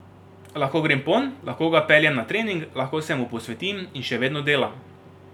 Lahko grem ponj, lahko ga peljem na trening, lahko se mu posvetim in še vedno delam.